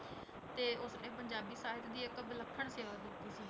ਤੇ ਉਸਨੇ ਪੰਜਾਬੀ ਸਾਹਿਤ ਦੀ ਇੱਕ ਵਿਲੱਖਣ ਸੇਵਾ ਕੀਤੀ ਸੀ।